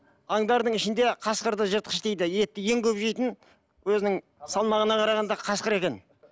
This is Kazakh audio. аңдардың ішінде қасқырды жыртқыш дейді етті ең көп жейтін өзінің салмағына қарағанда қасқыр екен